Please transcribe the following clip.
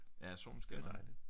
Ja solen skinner